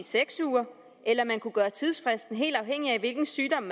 seks uger eller at man kunne gøre tidsfristen helt afhængig af hvilken sygdom